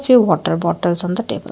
few water bottles on the table.